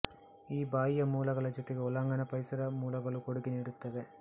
ಈ ಬಾಹ್ಯ ಮೂಲಗಳ ಜೊತೆಗೆ ಒಳಾಂಗಣ ಪರಿಸರ ಮೂಲಗಳೂ ಕೊಡುಗೆ ನೀಡುತ್ತವೆ